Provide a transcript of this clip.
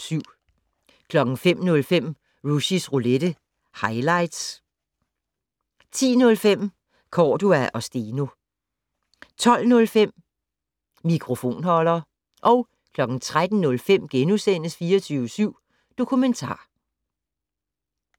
05:05: Rushys Roulette - highlights 10:05: Cordua & Steno 12:05: Mikrofonholder 13:05: 24syv Dokumentar *